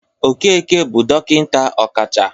Okeke bụ dọkịnta ọkacha